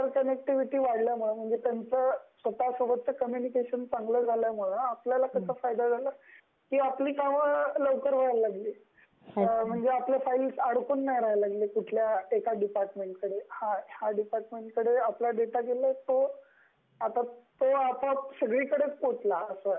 Inter connectivity वाढल्याने म्हणजे त्यांचं स्वतासोबतचं कम्युनिकेशन चांगलं झाल्यानं आपल्याला त्याचा फायदा झाला की आपली कामं लवकर व्हायला लागली. म्हणजे आपल्या फाइल्स आडकून नाही राहिला लागली कुठल्या एका डिपार्टमेन्टकडे.ह्या डिपार्टमेन्टकडे आपला डेटा गेला म्हणजे तो आपोआप सगळीकडेच पोहचला अस